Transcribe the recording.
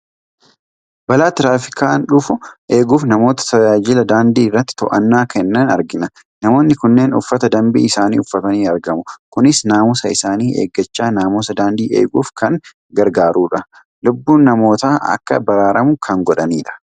Balaa Tiraafikaan dhufu eeguuf namoota tajaajila daandii irratti to'annaa kennan argina, Namoonni kunneen uffata dambii isaanii uffatanii argamu. Kunis naamusa isaanii eeggachaa naamusa daandii eeguuf kan gargaarudha. Lubbuun namootaa akka baraaramu kan godhanidha.